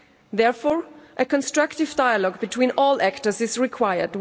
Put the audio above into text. Therefore, a constructive dialogue between all actors is required.